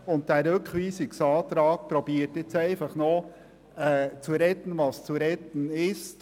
Dieser Rückweisungsantrag versucht nun zu retten, was zu retten ist.